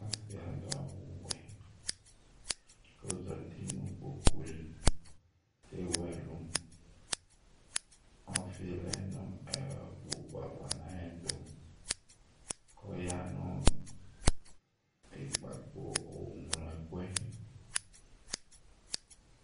Ɔsɩ adʋ awʋwɛ kʋ ɔzati nʋ kpoku li Tewu ɛlʋ Ɔfɩ lɛ nʋ ɛɛ kpoku yɛ ava nʋ ayɛtʋ Kʋ ɔyanʋ ikpako ɔŋlo ɛkʋ